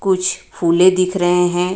कुछ फूले दिख रहे हैं.